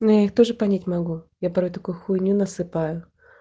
ну я их тоже понять могу я порой такую хуйню насыпаю